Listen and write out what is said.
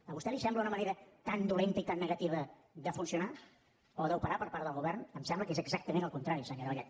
a vostè li sembla una manera tan dolenta i tan negativa de funcionar o d’operar per part del govern em sembla que és exactament el contrari senyora vallet